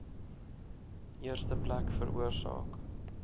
eerste plek veroorsaak